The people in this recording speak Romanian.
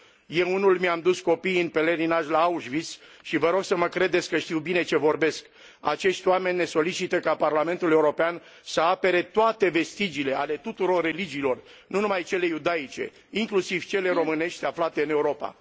Eu, unul, mi am dus copiii în pelerinaj la Auschwitz și vă rog să mă credeți că știu bine ce vorbesc. Acești oameni ne solicită ca Parlamentul European să apere toate vestigiile, ale tuturor religiilor, nu numai cele iudaice, inclusiv cele românești aflate în Europa.